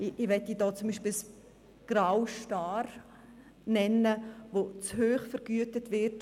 Ich möchte hier beispielsweise den grauen Star nennen, der zu hoch vergütet wird.